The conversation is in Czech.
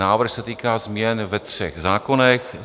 Návrh se týká změn ve třech zákonech.